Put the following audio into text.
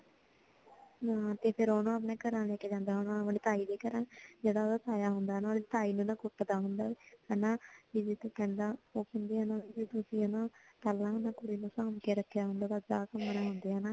ਹਮ ਤੇ ਫਿਰ ਉਹਨੂੰ ਆਪਣੇ ਘਰੇ ਲੈ ਕੇ ਜਾਂਦਾ ਆਪਣੇ ਤਾਈਂ ਦੇ ਘਰਾਂ ਜਿਹੜਾ ਉਹਦਾ ਤਾਇਆ ਹੁੰਦਾਂ ਹਨਾਂ ਤਾਈਂ ਨੂੰ ਨਾ ਕੁੱਟਦਾ ਹੁੰਦਾਂ ਹਨਾਂ ਵੀ ਪਹਿਲਾਂ ਹਨਾਂ ਤੁਸੀਂ ਪਹਿਲਾਂ ਹੀ ਕੁੜੀ ਨੂੰ ਸਾਂਭ ਕੇ ਰੱਖਿਆ ਹੁੰਦਾ ਤਾਂ ਅੱਜ ਆ ਕੰਮ ਨਾਂ ਹੁੰਦਾਂ